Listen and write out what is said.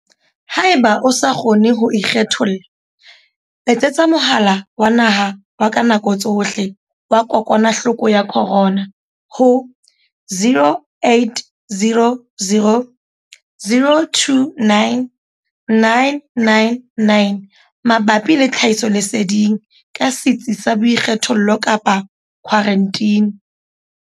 Haeba o sa kgone ho ikgetholla, letsetsa Mohala wa Naha wa ka Nako Tsohle wa Kokwanahloko ya Corona ho 0800 029 999 mabapi le tlhahisoleseding ka setsi sa boikgethollo kapa khwaranteni.